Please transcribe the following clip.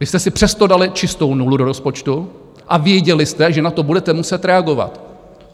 Vy jste si přesto dali čistou nulu do rozpočtu a věděli jste, že na to budete muset reagovat.